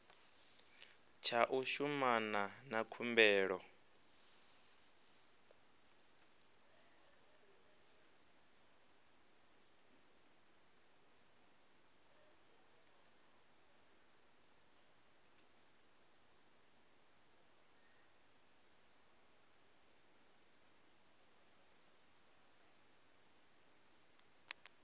tsha u shumana na khumbelo